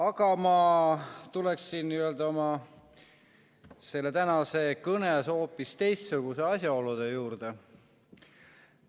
Aga ma tulen oma tänases kõnes hoopis teistsuguse asjaolu juurde.